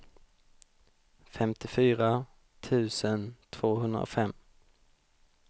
femtiofyra tusen tvåhundrafem